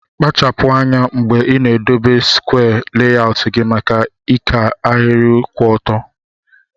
Kpachapu anya mgbe ina edobe skwee layọut gi maka ika ahiri kwụ ọtọ.